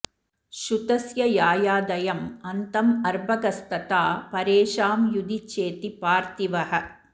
शुतस्य यायादयं अन्तं अर्भकस्तथा परेषां युधि चेति पार्थिवः